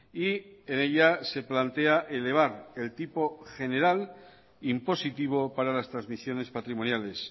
y en ella se plantea elevar el tipo general impositivo para las transmisiones patrimoniales